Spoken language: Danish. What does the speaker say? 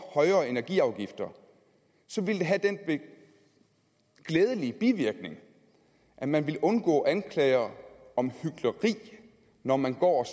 højere energiafgifter vil det have den glædelige bivirkning at man vil undgå anklager om hykleri når man går